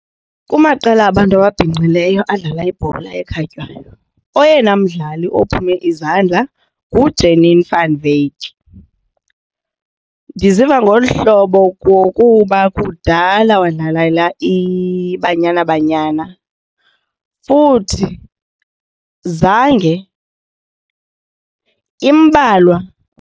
Kumaqela abantu ababhinqileyo adlala ibhola ekhatywayo oyena mdlali ophume izandla nguJanine Van Wyk. Ndiziva ngolu hlobo ngokuba kudala wadlalela iBanyana Banyana futhi zange imbalwa.